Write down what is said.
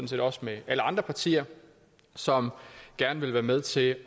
set også med alle andre partier som gerne vil være med til at